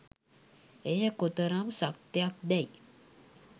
එය කොතරම් සත්‍යයක්දැයි